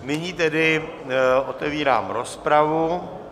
Nyní tedy otevírám rozpravu.